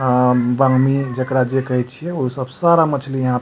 आ बामी जेकरा जे कहे छीए उ सब सारा मछ्ली यहाँ --